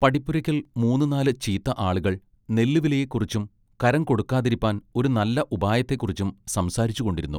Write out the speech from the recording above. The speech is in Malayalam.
പടിപ്പുരക്കൽ മൂന്നുനാല് ചീത്ത ആളുകൾ നെല്ലുവിലയെക്കുറിച്ചും കരംകൊടുക്കാതിരിപ്പാൻ ഒരു നല്ല ഉപായത്തേക്കുറിച്ചും സംസാരിച്ചുകൊണ്ടിരുന്നു.